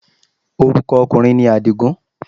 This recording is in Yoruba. Orúkọ ọkùnrin ni Àdìgún